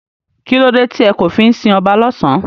Kílódé tí e kò fí n si oba lósán?